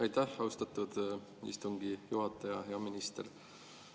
Aitäh, austatud istungi juhataja!